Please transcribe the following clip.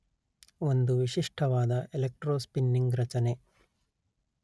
ಒಂದು ವಿಶಿಷ್ಟವಾದ ಎಲೆಕ್ಟ್ರೊಸ್ಪಿನ್ನಿಂಗ್ ರಚನೆ